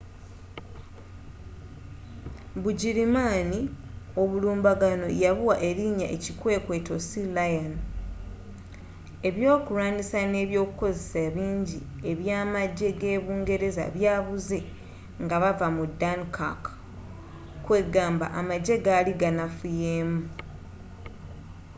bugirimaani obulumbaganno yabuwa erinya ekikwekweto sealion”. ebyokulwanisa ne ebyokukozesa bingi ebya amajje ge’bungereza byabuze nga bavva mu dunkirk kwegamba amajje gali ganafuyemu